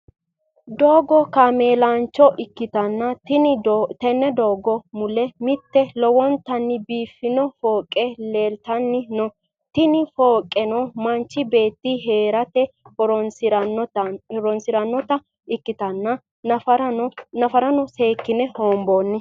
doogo kameelancho ikitanna tenne doogo mulle mitte lowontanni biiifanno foqqe lelitanni no tinni fooqqeno manchi beeti heerate horonsirannota ikitana nafarano seekine honboonni.